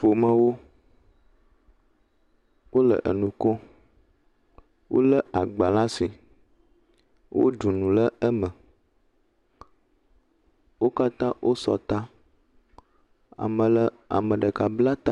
Ƒomawo wole enu kom, wolé agba la si, woɖu nu le eme, wo katã wosɔ ta ame le, ame ɖeka bla ta.